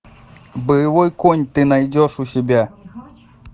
боевой конь ты найдешь у себя